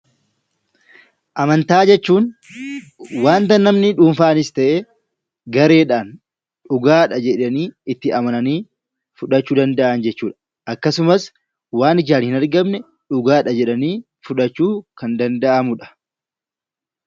Amantaa jechuun wanta namni dhuunfaanis ta'e gareedhaan dhugaadha jedhanii itti amananii fudhachuu danda'an jechuu dha. Akkasumas waan ijaan hin argamne dhugaa dha jedhanii fudhachuun kan danda'amu dha.